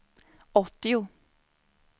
åttio